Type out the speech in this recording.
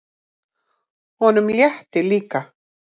Honum létti líka.